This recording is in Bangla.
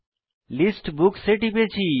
লিস্ট বুকস এ টিপেছি